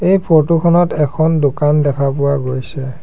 এই ফটো খনত এখন দোকান দেখা পোৱা গৈছে।